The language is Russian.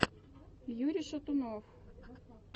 юрий шатунов